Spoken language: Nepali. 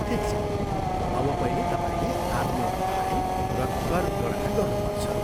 ठिक छ अब पहिले तपाईँले आफ्नो आय र कर गणना गर्नु पर्छ।